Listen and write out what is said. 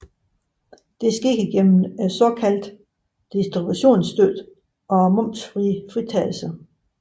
Det sker gennem den såkaldte distributionsstøtte og momsfritagelse